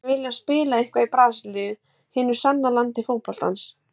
Ég myndi vilja spila eitthvað í Brasilíu, hinu sanna landi fótboltans.